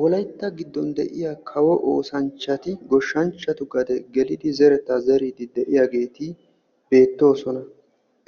Wolaytta giddon kawo oosanchchatti goshshanchchattu gaden zeriddi de'osonna.